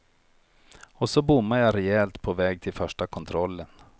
Och så bommade jag rejält på väg till första kontrollen.